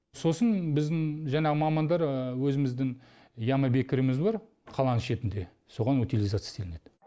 сосын біздің жаңағы мамандар өзіміздің яма бекіріміз бар қаланың шетінде соған утилизация істелінеді